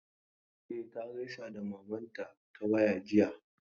E, ta gaisa da mamanta ta waya jiya.